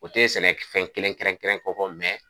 O te sɛnɛ k fɛn kelen kɛrɛnkɛrɛn kofɔ